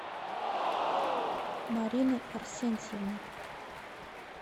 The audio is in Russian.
марины арсентьевны